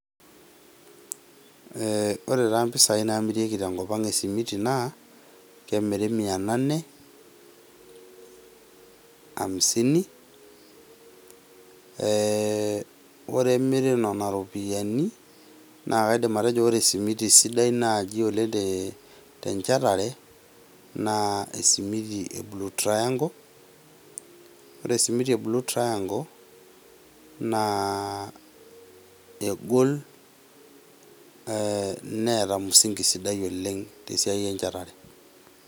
ore taa impisai naamirieki esimiti naa, kemiri mia nane hamsini ore pee emiri nena rupiani, naa kaidim atejo ore esimiti sidai naaji te enchetare naa esimiti e Blue Triangle. Ore esimiti e Blue Triangle naa egol neata mzingi sidai oleng' te esiai enchetare.